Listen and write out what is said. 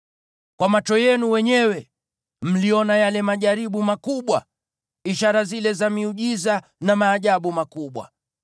Kwa macho yenu wenyewe mliona yale majaribu makubwa, ishara zile za miujiza na maajabu makubwa.